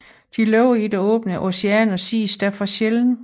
Den lever i det åbne ocean og ses derfor sjældent